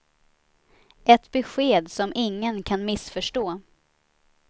Ett besked som ingen kan missförstå.